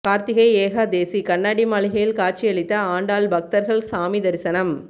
கார்த்திகை ஏகாதேசி கண்ணாடி மாளிகையில் காட்சியளித்த ஆண்டாள் பக்தர்கள் சாமி தரிசனம்